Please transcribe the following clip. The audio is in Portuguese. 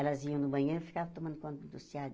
Elas iam no manhã e ficavam tomando conta do.